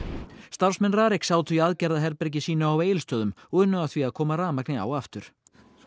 starfsmenn RARIK sátu í aðgerðaherbergi sínu á Egilsstöðum og unnu að því að koma rafmagni á aftur